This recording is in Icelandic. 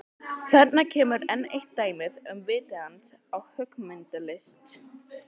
Þarna kemur enn eitt dæmið um vit hans á höggmyndalist.